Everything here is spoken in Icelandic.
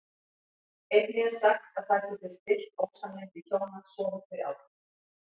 Einnig er sagt að það geti stillt ósamlyndi hjóna sofi þau á því.